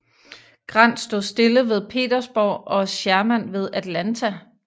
Grant stod stille ved Petersburg og Sherman ved Atlanta